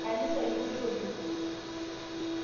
Nkanisa ipoitoto